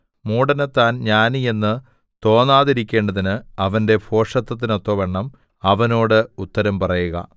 മൂഢന് താൻ ജ്ഞാനിയെന്ന് തോന്നാതിരിക്കേണ്ടതിന് അവന്റെ ഭോഷത്തത്തിനൊത്തവണ്ണം അവനോട് ഉത്തരം പറയുക